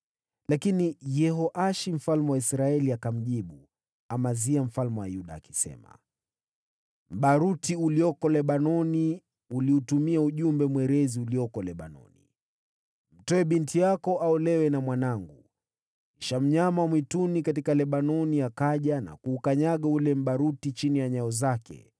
Lakini Yehoashi mfalme wa Israeli akamjibu Amazia mfalme wa Yuda: “Mbaruti uliokuwa Lebanoni ulituma ujumbe kwa mwerezi uliokuwa Lebanoni, ‘Mtoe binti yako aolewe na mwanangu.’ Kisha mnyama wa mwituni aliyekuwa Lebanoni akaja na kuukanyaga ule mbaruti.